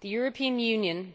The European Union